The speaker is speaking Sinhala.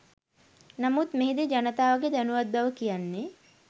නමුත් මෙහි දී ජනතාවගේ දැනුවත් බව කියන්නෙ